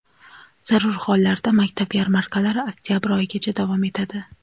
zarur hollarda maktab yarmarkalari oktabr oyigacha davom etadi.